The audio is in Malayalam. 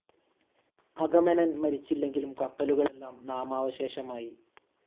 അഗമെമ്നൻ മരിച്ചില്ലെങ്കിലും കപ്പലുകളെല്ലാം നാമാവശേഷമായി.